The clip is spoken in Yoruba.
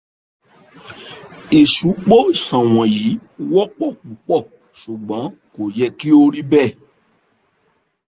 ìsupo iṣan wọ̀nyí wọ́pọ̀ púpọ̀ ṣùgbọ́n kò yẹ kí ó rí bẹ́ẹ̀